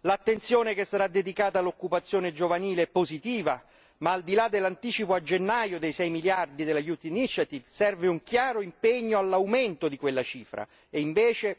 L'attenzione che sarà dedicata all'occupazione giovanile è positiva, ma al di là dell'anticipo a gennaio dei 6 miliardi dell'iniziativa per la gioventù serve un chiaro impegno all'aumento di quella cifra, e invece